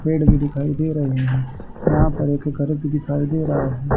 पेड़ भी दिखाई दे रहे हैं यहां पर एक घर भी दिखाई दे रहा है।